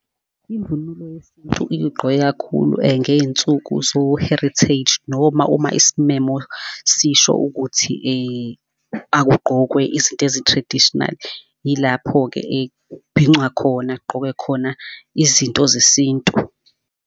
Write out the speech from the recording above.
Imvunulo yesintu ike igqokwe kakhulu ngey'nsuku zo-heritage, noma uma isimemo sisho ukuthi akugqokwe izinto ezi-traditional. Yilapho-ke ekbhincwa khona, kgqokwe khona izinto zesintu.